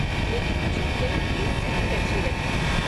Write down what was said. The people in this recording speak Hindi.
लेकिन मुझे फिल्म की सेटिंग अच्छी लगी।